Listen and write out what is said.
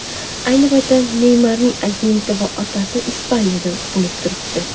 Ayni paytda Neymarning agenti va otasi Ispaniyada bo‘lib turibdi.